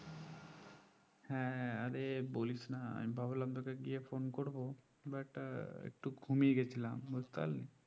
হ্যাঁ আরে বলিসনা আমি ভাবলাম তোকে গিয়ে phone করবো but একটু ঘুমিয়ে গেছিলাম বুঝতে পারলি